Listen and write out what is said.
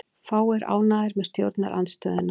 Fáir ánægðir með stjórnarandstöðuna